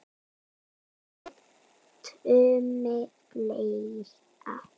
Kolbeinn Tumi Fleira?